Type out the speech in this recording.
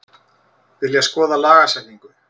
Vilja skoða lagasetningu